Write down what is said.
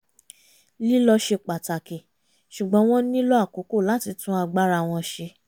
lílọ ṣe pàtàkì ṣugbọ́n wọ́n nílò àkókò láti tún agbára wọn ṣe